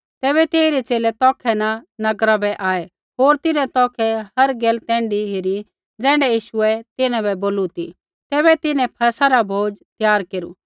तैबै तेइरै च़ेले तौखै न नगरा बै आऐ होर तिन्हैं तौखै हर गैल तैण्ढी हेरी ज़ैण्ढी यीशुऐ तिन्हां बै बोली ती तैबै तिन्हैं फसह रा भोजन त्यार केरू